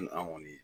an kɔni